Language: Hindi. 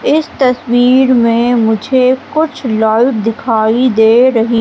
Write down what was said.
इस तस्वीर में मुझे कुछ नल दिखाई दे रही--